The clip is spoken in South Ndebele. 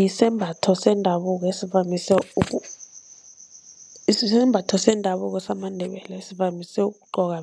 Yisembatho sendabuko esivamise isembatho sendabuko samaNdebele esivamise ukugqokwa